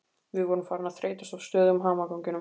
Við vorum farin að þreytast á stöðugum hamaganginum.